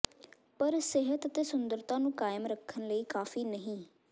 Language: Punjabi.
ਪਰ ਸਿਹਤ ਅਤੇ ਸੁੰਦਰਤਾ ਨੂੰ ਕਾਇਮ ਰੱਖਣ ਲਈ ਕਾਫ਼ੀ ਨਹੀਂ